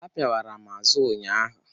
Ha pịawara m azụ ụnyaahụ.